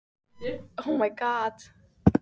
Forkaupsréttur er aðeins heimilaður við eigendaskipti.